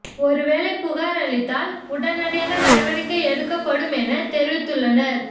ஒரு வேளை புகார் அளித்தால் உடனடியாக நடவடிக்கை எடுக்கப் படும் என தெரிவித்துள்ளனர்